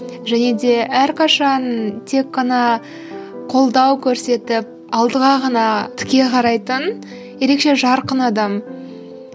және де әрқашан тек қана қолдау көрсетіп алдыға ғана тіке қарайтын ерекше жарқын адам